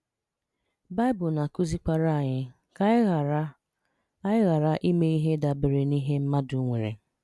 Baị̀bụ́l na-àkụ́zìkwàrà ànyì ka ànyì ghàrà ànyì ghàrà ìmè ihè dàbèrè n’ìhè mmadụ̀ nwerè